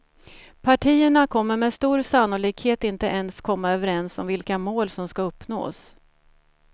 Partierna kommer med stor sannolikhet inte ens komma överens om vilka mål som ska uppnås.